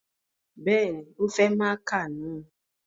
Bẹ́ẹ̀ni, o fẹ máaka na